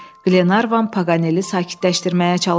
Qlenarvan Paqaneli sakitləşdirməyə çalışdı.